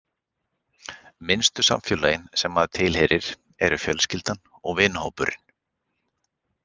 Minnstu samfélögin sem maður tilheyrir eru fjölskyldan og vinahópurinn.